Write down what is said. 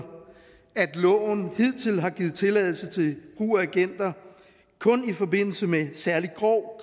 at loven hidtil kun har givet tilladelse til brug af agenter i forbindelse med særlig grov